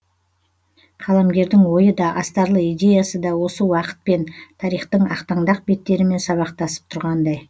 қаламгердің ойы да астарлы идеясы да осы уақытпен тарихтың ақтаңдақ беттерімен сабақтасып тұрғандай